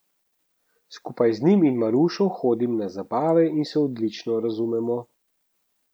Skupaj z njim in Marušo hodim na zabave in se odlično razumemo.